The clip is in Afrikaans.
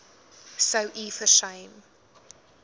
sou u versuim